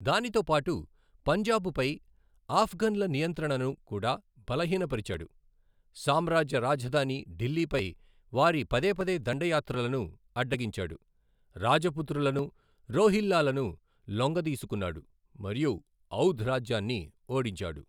దానితో పాటు, పంజాబుపై ఆఫ్ఘన్ల నియంత్రణను కూడా బలహీనపరిచాడు, సామ్రాజ్య రాజధాని ఢిల్లీపై వారి పదేపదే దండయాత్రలను అడ్డగించాడు, రాజపుత్రులను, రోహిల్లాలను లొంగదీసుకున్నాడు మరియు ఔధ్ రాజ్యాన్ని ఓడించాడు.